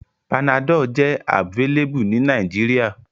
Panadol jẹ abvailable ni Nigeria